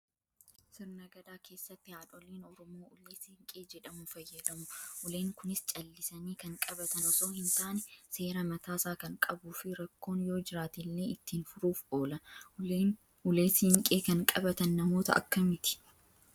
Sirna gadaa keessatti haadholiin oromoo ulee siinqee jedhamu fayyadamu. Uleen kunis callisanii kan qabatan osoo hin taane, seera mataasaa kan qabuu fi rakkoon yoo jiraatellee ittiin furuuf oola. Ulee siinqee kan qabatan namoota akkamiiti?